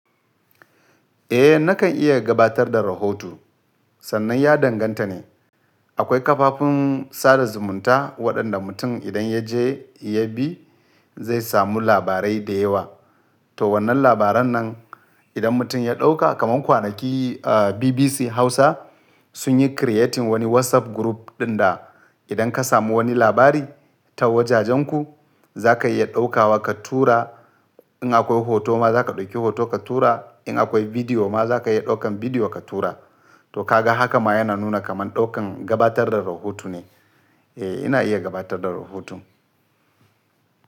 Eh nakan iya gabatar da rahoto sannan ya danganta ne akwai kafafin sada zumunta waɗanda mutum idan ya je ya bi zai samu labarai da yawa. To wannan labaran nan idan mutum ya ɗauka kaman kwanaki BBC Hausa sun yi creating wani WhatsApp group ɗin da idan ka samu wani labari ta wajajenku za ka iya ɗauka wa ka tura. In akwai hoto ma za ka ɗauki hoto ka tura. In akwai bidiyo ma za ka iya ɗaukan bidiyo ka tura. To ka ga haka ma yana nuna kaman ɗaukan gabatar da rahoto ne. Eh ina iya gabatar da rahoto.